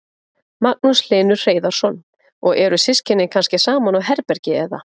Magnús Hlynur Hreiðarsson: Og eru systkini kannski saman á herbergi eða?